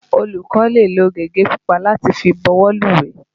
Olùkó lè lo gègé pupa láti fi bọwọ́lùwé.